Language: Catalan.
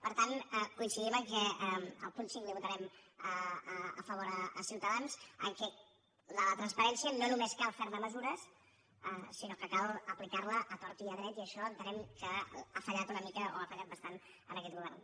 per tant coincidim el punt cinc l’hi votarem a favor a ciutadans que de la transparència no només cal ferne mesures sinó que cal aplicar la a tort i a dret i això entenem que ha fallat una mica o ha fallat bastant en aquest govern